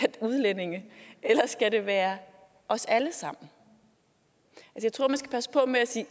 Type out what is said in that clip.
og udlændinge eller skal det være os alle sammen jeg tror at man skal passe på med at sige